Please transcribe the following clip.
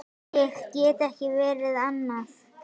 Ég get ekki verið annað.